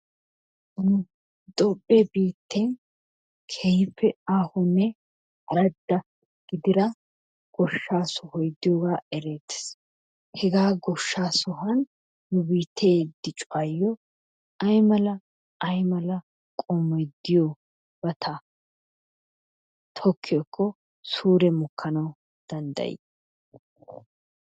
Toophphee biitten keehippe aahonne aradda gidida goshshaa sohoy diyogaa ereettees . Hegaa goshshaa sohuwan nu biittee diccuwayo aymala aymala qommoy diyobata tokkiyakko suure mokkana danddayi?